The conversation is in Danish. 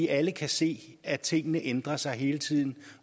alle kan se at tingene ændrer sig hele tiden